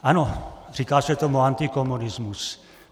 Ano, říká se tomu antikomunismus.